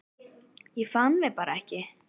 Ég fann mig bara ekki.